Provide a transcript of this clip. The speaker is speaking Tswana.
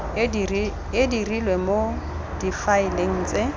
e dirilwe mo difaeleng tse